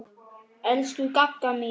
Elsku Gagga mín.